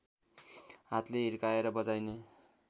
हातले हिर्काएर बजाइने